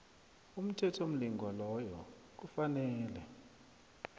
umthethomlingwa loyo kufanele